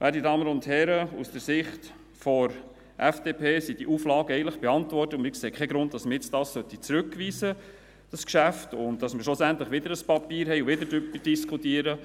Werte Damen und Herren, aus Sicht der FDP sind die Auflagen eigentlich beantwortet, und wir sehen keinen Grund, weshalb man dieses Geschäft nun zurückweisen soll, damit man schlussendlich wieder ein Papier hat und wieder diskutiert.